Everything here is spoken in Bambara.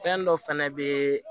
Fɛn dɔ fɛnɛ be